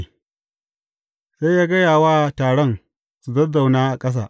Sai ya gaya wa taron su zazzauna a ƙasa.